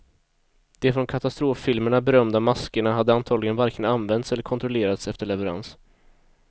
De från katastroffilmerna berömda maskerna hade antagligen varken använts eller kontrollerats efter leverans.